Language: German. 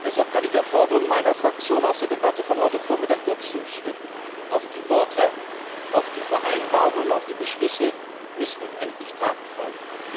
Deshalb kann ich der Forderung meiner Fraktion aus der Debatte von heute Vormittag nur zustimmen Auf die Worte, auf die Vereinbarungen und auf die Beschlüsse müssen nun endlich Taten folgen!